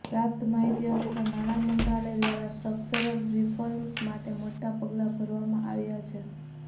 પ્રાપ્ત માહિતી અનુસાર નાણા મંત્રાલય દ્વારા સ્ટ્રક્ચરલ રિફોર્મ્સ માટે મોટા પગલા ભરવામાં આવ્યા છે